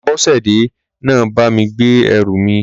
Aṣọ́bodè náà bá mi gbé ẹrù mi.